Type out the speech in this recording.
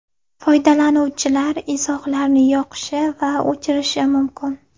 Foydalanuvchilar izohlarni yoqishi va o‘chirishi mumkin.